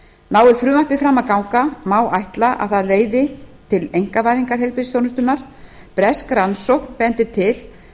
nái frumvarpið fram að ganga má ætla að það leiði til einkavæðingar heilbrigðisþjónustunnar bresk rannsókn bendir til